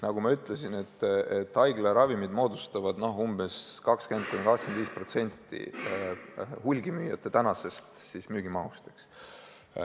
Nagu ma ütlesin, haiglaravimid moodustavad 20–25% hulgimüüjate praegusest müügimahust.